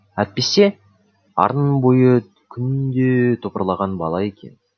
әтпесе арнаның бойы күнде топырлаған бала екен